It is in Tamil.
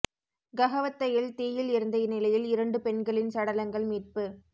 கஹவத்தையில் தீயில் எரிந்த நிலையில் இரண்டு பெண்களின் சடலங்கள் மீட்பு